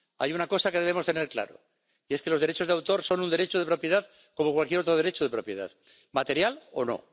Hay una cosa que debemos tener clara los derechos de autor son un derecho de propiedad como cualquier otro derecho de propiedad, material o no.